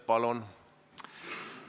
Palun!